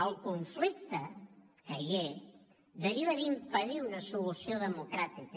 el conflicte que hi és deriva d’impedir una solució democràtica